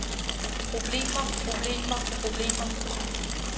problemer problemer problemer